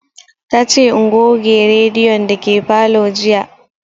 Ta ce in goge rediyon dake falo jiya